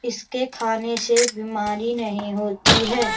इसके खाने से बिमारी नहीं होती है।